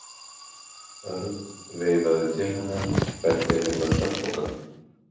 Örn veifaði til hennar og benti henni á svefnpokann.